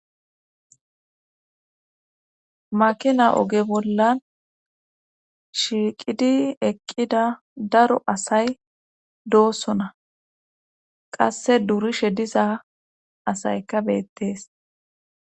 Makina oge bollan shiiqidi eqqida daro asay doosona qasse durishe diza asayka beettes.